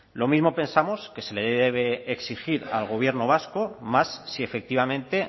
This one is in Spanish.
lo mismo pensamos que se le debe exigir al gobierno vasco más si efectivamente